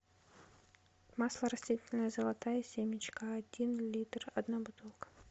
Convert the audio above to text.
масло растительное золотая семечка один литр одна бутылка